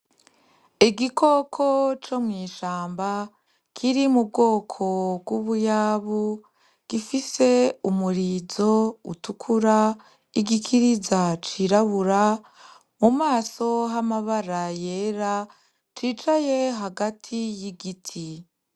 Igikoko co mu ishamba kiri mu bwoko bw'ubuyabu gifise umurizo utukura igikiriza cirabura mu maso h'amabara yere cicaye hagati y'igiti.